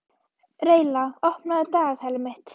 Reyla, opnaðu dagatalið mitt.